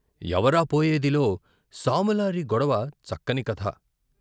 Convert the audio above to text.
ఎవరా పోయేదిలో సాములారి గొడవ చక్కని కథ.